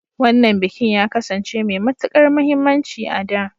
Wannan bikin ya kasance mai matukar muhimmanci a da.